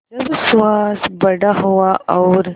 जब सुहास बड़ा हुआ और